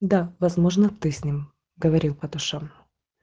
да возможно ты с ним говорил по душам